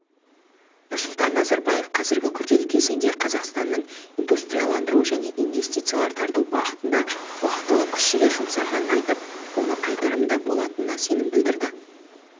нұрсұлтан назарбаев қазіргі күрделі кезеңде қазақстанның индустрияландыру және инвестициялар тарту бағытында уақтылы күш-жігер жұмсағанын айтып оның қайтарымды болатынына сенім білдірді